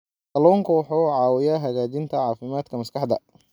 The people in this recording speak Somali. Kalluunku wuxuu caawiyaa hagaajinta caafimaadka maskaxda.